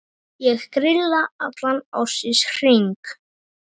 Ég grilla allan ársins hring.